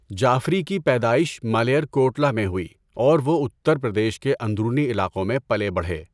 جعفری کی پیدائش ملیرکوٹلا میں ہوئی اور وہ اتر پردیش کے اندرونی علاقوں میں پلے بڑھے۔